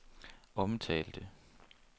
omtalte